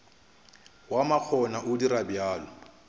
wa makgona o dira bjalo